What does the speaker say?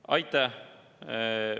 Aitäh!